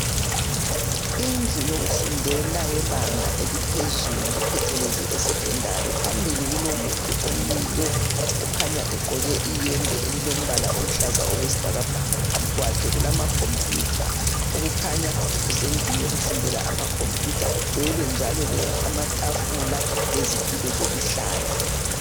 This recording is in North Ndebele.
Indlu yokufundela yebanga eliphezulu phecelezu Secondary phambili kulomuntu omiyo kukhanya iyembe elombala oluhlaza okwesibhakabhaka. Phambi kwakhe kulamacomputer okukhanya kusendlini yokufundela amacomputer. Kugcwele njalo amatafula lezitulo zokuhlala